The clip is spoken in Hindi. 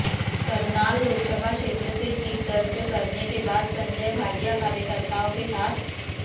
करनाल लोकसभा क्षेत्र से जीत दर्ज करने के बाद संजय भाटिया कार्यकर्ताओं के साथ